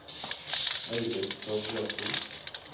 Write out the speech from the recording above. Eilif Torgersen